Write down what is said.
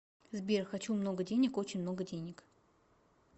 сбер хочу много денег очень много денег